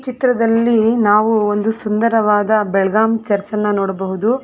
ಚಿತ್ರದಲ್ಲಿ ನಾವು ಒಂದು ಸುಂದರವಾದ ಬೆಳಗಾಂ ಚರ್ಚ್ ಅನ್ನ ನೋಡಬಹುದು.